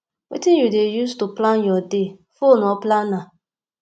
wetin you dey use to plan your day phone or planner